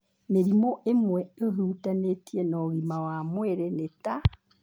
Mĩrimũ ĩmwe ĩhutanĩtie na ũgima wa mwĩrĩ nĩ ta: